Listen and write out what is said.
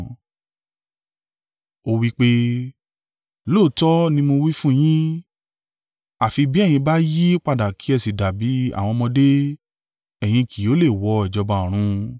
Ó wí pé, “Lóòótọ́ ni mo wí fún yín, àfi bí ẹ̀yin bá yí padà kí ẹ sì dàbí àwọn ọmọdé, ẹ̀yin kì yóò lè wọ ìjọba ọ̀run.